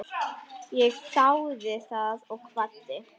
Ég þáði það og kvaddi.